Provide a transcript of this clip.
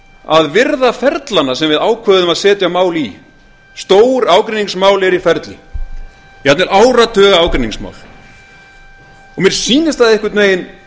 að virða ferlana sem við ákveðum að setja mál í stór ágreiningsmál eru í ferli jafnvel áratugaágreiningsmál og mér sýnist það einhvern veginn